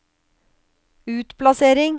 utplassering